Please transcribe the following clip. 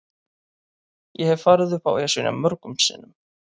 Ég hef farið upp Esjuna mörgum sinnum.